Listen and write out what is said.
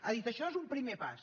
ha dit això és un primer pas